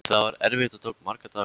Það var erfitt og tók marga daga.